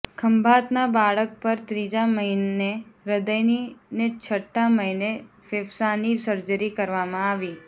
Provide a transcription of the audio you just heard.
ખંભાતના બાળક પર ત્રીજા મહિને હૃદયની ને છઠ્ઠા મહિને ફેફસાની સર્જરી કરવામાં આવી